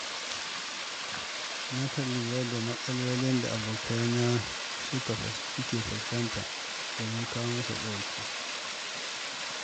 Nakan lura da matsalolin da abokaina suke fuskanta domin kawo musu ɗauki.